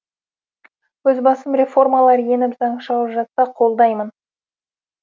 өз басым реформалар еніп заң шығып жатса қолдаймын